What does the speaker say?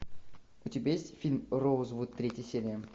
у тебя есть фильм роузвуд третья серия